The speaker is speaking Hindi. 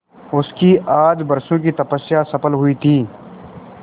उसकी आज बरसों की तपस्या सफल हुई थी